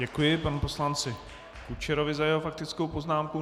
Děkuji panu poslanci Kučerovi za jeho faktickou poznámku.